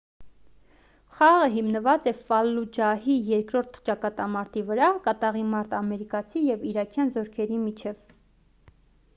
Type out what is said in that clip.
խաղը հիմնված է ֆալլուջահի երկրորդ ճակատամարտի վրա կատաղի մարտ ամերիկացի ու իրաքյան զորքերի միջև